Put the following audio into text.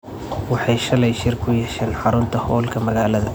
Waxay shalay shir ku yeesheen xarunta hoolka magaalada.